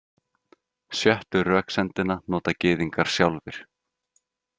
Sjöttu röksemdina nota Gyðingar sjálfir.